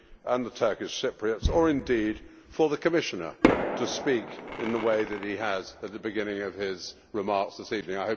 and the Turkish Cypriots or, indeed, for the Commissioner to speak in the way that he has at the beginning of his remarks this evening.